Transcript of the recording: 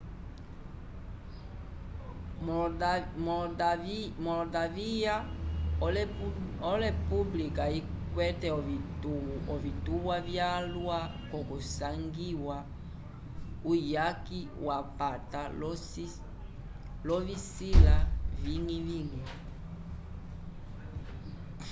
moldavya olepublika ikwete ovituwa vyalwa kusangiwa uyaki wapata l'ovisila viñgi-viñgi